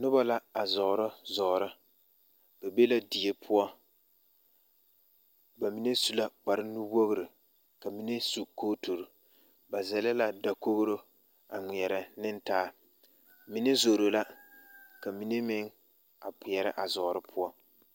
Noba la a zɔɔrɔ zɔɔre ba be la die poɔ ba mine su la kprnuwoɡri ka mine su kootori ba zɛle la dakoɡro a ŋmeɛrɛ ne taa mine zoro la ka mine meŋ a kpeɛrɛ a zɔɔre poɔ.